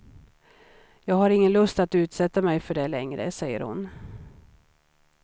Jag har ingen lust att utsätta mig för det längre, säger hon.